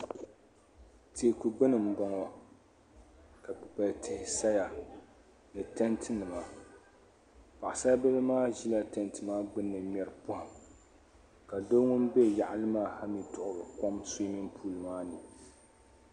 Teeku gbini mboŋɔ ka Kpikpal tihi saya ni tanti nima paɣasabili maa ʒila tanti maa gbini ŋmeri pohim ka doo ŋun be yaɣali maa duɣiri kom suumin puuli maani.